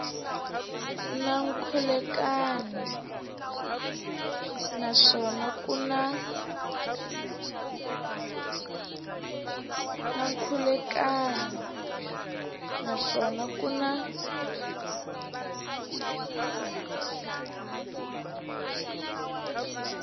na nkhulukelano naswona ku na